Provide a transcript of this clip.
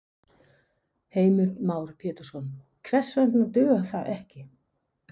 Heimir Már Pétursson: Hvers vegna dugar það ekki?